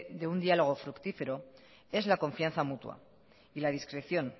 de un diálogo fructífero es la confianza mutua y la discreción